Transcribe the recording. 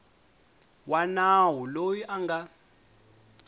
wa nawu loyi a nga